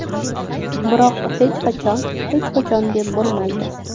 Biroq hech qachon hech qachon deb bo‘lmaydi.